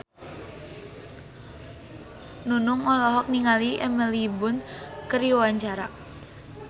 Nunung olohok ningali Emily Blunt keur diwawancara